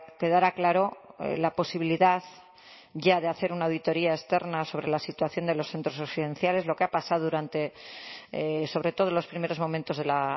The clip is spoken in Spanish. quedara claro la posibilidad ya de hacer una auditoría externa sobre la situación de los centros residenciales lo que ha pasado durante sobre todo los primeros momentos de la